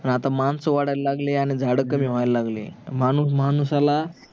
आता मांस वाढायला लागली आणि झाड कमी होयाला लागली माणूस माणसाला